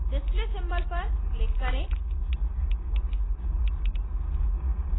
display symbol पर click करें